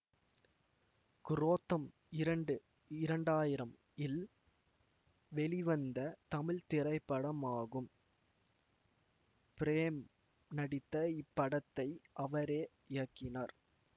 குரோத்தம் இரண்டு இரண்டாயிரம் இல் வெளிவந்த தமிழ் திரைப்படமாகும் பிரேம் நடித்த இப்படத்தை அவரே இயக்கினார்